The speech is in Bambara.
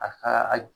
A ka a